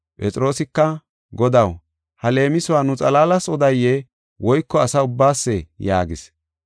Phexroosika, “Godaw ha leemisuwa nu xalaalas odaye woyko asa ubbaasee?” yaagis.